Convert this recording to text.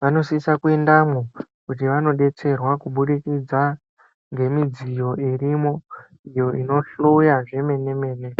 vanosisa kuendamwo kuti vanodetserwa kubudikidza ngemidziyo irimwo, iyo inohloya zvemene mene.